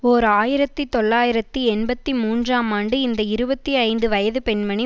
ஓர் ஆயிரத்தி தொள்ளாயிரத்தி எண்பத்தி மூன்றாம் ஆண்டு இந்த இருபத்தி ஐந்து வயது பெண்மணி